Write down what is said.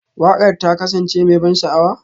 Waƙar ta kasance mai ban sha'awa?